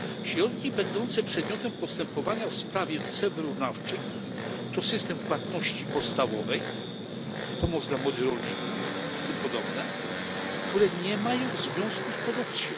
Środki będące przedmiotem postępowania w sprawie ceł wyrównawczych to system płatności podstawowej, pomoc dla młodych rolników itp., które nie mają związku z produkcją.